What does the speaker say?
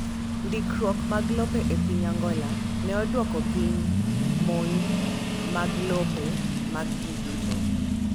Ndikruok mag lope e piny Angola ne odwoko piny monj mag lope mag ji duto.